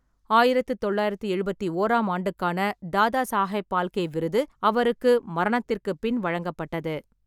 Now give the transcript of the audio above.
ஆயிரத்து தொள்ளாயிரத்தி எழுபத்தி ஓராம் ஆண்டுக்கான தாதாசாகேப் பால்கே விருது அவருக்கு மரணத்திற்குப் பின் வழங்கப்பட்டது.